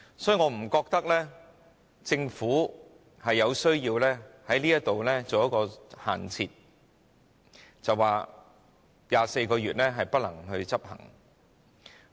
所以，我不覺得政府有需要在這方面設限，說24個月的建議不能夠執行。